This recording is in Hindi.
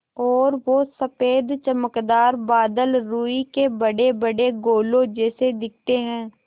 और वो सफ़ेद चमकदार बादल रूई के बड़ेबड़े गोलों जैसे दिखते हैं